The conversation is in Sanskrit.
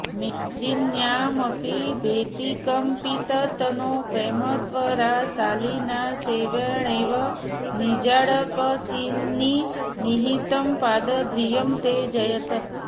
मेदिन्यामपि भीतिकम्पिततनौ प्रेमत्वराशालिना शर्वेणैव निजाङ्कसीम्नि निहितं पादद्वयं ते जयेत्